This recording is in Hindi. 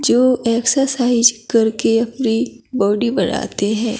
जो एक्सरसाइज करके अपनी बॉडी बनाते हैं।